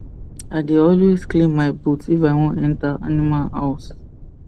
i dey alway clean my boot if i won enter animal house